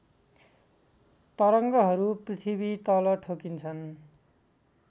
तरङ्गहरू पृथ्वीतल ठोकिन्छन्